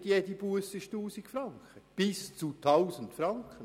Nicht jede Busse beträgt 1000 Franken.